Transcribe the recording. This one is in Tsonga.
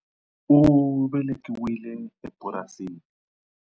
U velekiwile epurasini.